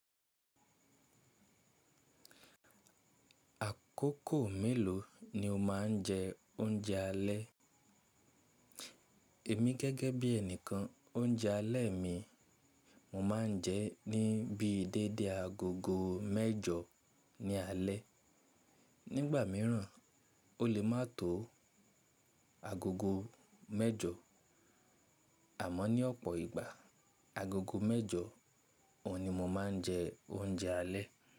Àkókò mélòó ni o máa ń jẹ oúnjẹ alẹ́? Èmi gẹ́gẹ́ bí ẹnìkan oúnjẹ alẹ́ mi mo máa ń jẹ ní bíi déédé agogo mẹ́jọ ní alé. Nígbà míràn o lè má tò agogo mẹ́jọ àmọ́ ní ọ̀pọ̀ ìgbà agogo mẹ́jọ òhun ni mo máa ń jẹ oúnjẹ alẹ́.